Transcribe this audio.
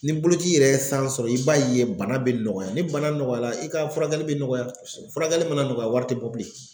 Ni boloci yɛrɛ ye san sɔrɔ i b'a ye bana bɛ nɔgɔya ni bana nɔgɔya la i ka furakɛli bɛ nɔgɔya furakɛli mana nɔgɔya wari tɛ bɔ bilen.